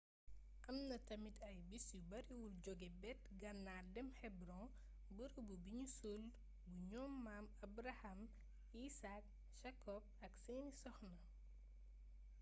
am na tamit ay bis yu bariwul jóge bët gannaar dem hebron bërëbu bi nu suul bu ñoom maam abraham isaac jacob ak seeni soxna